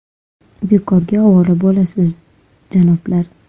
Bekorga ovora bo‘lasiz, janoblar!